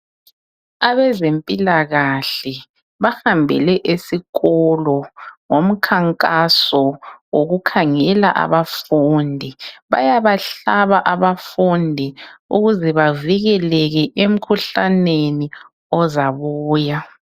Abezempilakahle bahambele esiikolo, ngomkhankaso wokukhangela abafundi. Bayabahlaba abafundi, ukuze bavikeleke, kumkhuhlane ozabuya.